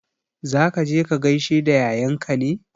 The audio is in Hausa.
Za ka je ka gaishe da yayanka ne?